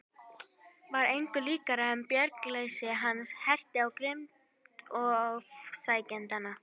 Var engu líkara en bjargarleysi hans herti á grimmd ofsækjendanna.